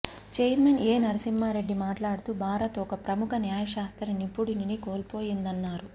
chairman A Narasimha Reddy మాట్లాడుతూ భారత్ ఒక ప్రముఖ న్యాయ శాస్త్ర నిపుణుడిని కోల్పోయిందన్నారు